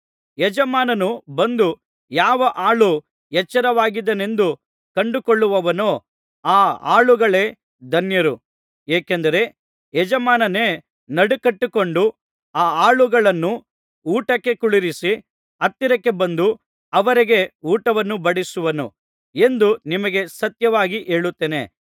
ಯಜಮಾನನು ಬಂದು ಯಾವ ಆಳು ಎಚ್ಚರವಾಗಿದ್ದಾನೆಂದು ಕಂಡುಕೊಳ್ಳುವನೋ ಆ ಆಳುಗಳೇ ಧನ್ಯರು ಏಕೆಂದರೆ ಯಜಮಾನನೇ ನಡುಕಟ್ಟಿಕೊಂಡು ಆ ಆಳುಗಳನ್ನು ಊಟಕ್ಕೆ ಕುಳ್ಳಿರಿಸಿ ಹತ್ತಿರಕ್ಕೆ ಬಂದು ಅವರಿಗೆ ಊಟವನ್ನು ಬಡಿಸುವನು ಎಂದು ನಿಮಗೆ ಸತ್ಯವಾಗಿ ಹೇಳುತ್ತೇನೆ